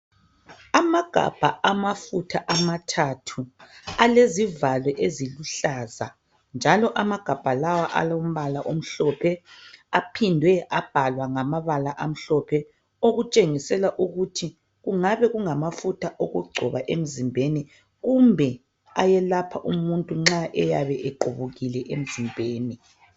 Amagabha amafutha amathathu alezivalo eziluhlaza njalo amagabha lawo alombala omhlophe aphindwe abhalwa ngamabala amhlophe okutshengisela ukut kungabe kungamafutha okungcoba emzimbenni kumbe ayelapha umuntu nxa equbukile emzimbeni